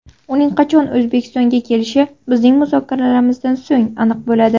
Uning qachon O‘zbekistonga kelishi bizning muzokaralarimizdan so‘ng aniq bo‘ladi.